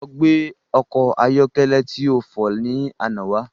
Lọ gbé ọkọ̀ ayọ́kẹ́lẹ́ ti o fọ̀ ni àná wá